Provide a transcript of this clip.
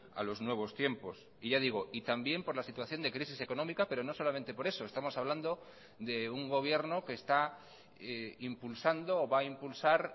a los nuevos tiempos y ya digo y también por la situación de crisis económica pero no solamente por eso estamos hablando de un gobierno que está impulsando o va a impulsar